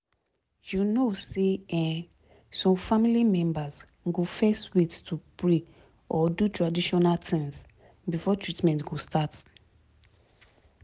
you know say[um]some family members go fezz wait to pray or do traditional tins before treatment go start